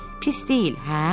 Pis deyil, hə?